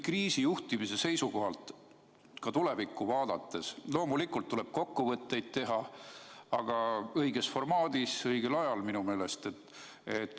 Kriisijuhtimise seisukohalt tulevikku vaadates tuleb loomulikult kokkuvõtteid teha, aga minu meelest tuleb seda teha õiges formaadis ja õigel ajal.